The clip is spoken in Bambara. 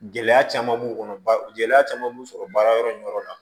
Gɛlɛya caman b'o kɔnɔ ba gɛlɛya caman b'u sɔrɔ baarayɔrɔ in yɔrɔ la